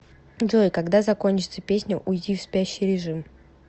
джой когда закончится песня уйди в спящий режим